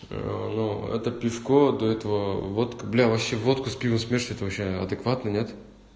это пешко до этого вот бля вообще воку с пивом смешивать ты вообще адекватный нет